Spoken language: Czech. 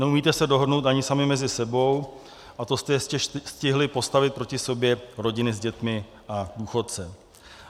Neumíte se dohodnout ani sami mezi sebou, a to jste ještě stihli postavit proti sobě rodiny s dětmi a důchodce.